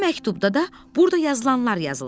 O məktubda da burda yazılanlar yazılmışdı.